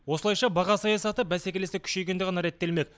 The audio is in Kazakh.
осылайша баға саясаты бәсекелестік күшейгенде ғана реттелмек